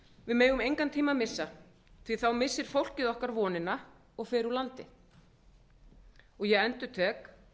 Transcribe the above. við megum engan tíma því að þá missir fólkið okkar vonina og fer úr landi ég endurtek